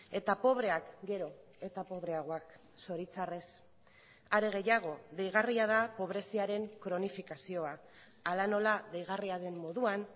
eta pobreak gero eta pobreagoak zoritzarrez are gehiago deigarria da pobreziaren kronifikazioa hala nola deigarria den moduan